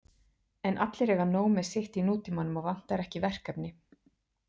En allir eiga nóg með sitt í nútímanum og vantar ekki verkefni.